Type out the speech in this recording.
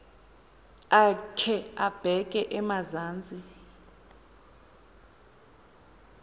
akhe abeke emazantsi